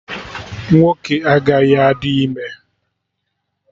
Ụmụnwoke agaghị adị ime